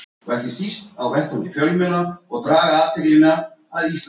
Nú, þakka ykkur bara kærlega fyrir.